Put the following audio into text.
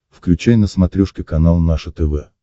включай на смотрешке канал наше тв